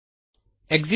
Enter ಕೀಯನ್ನು ಒತ್ತಿ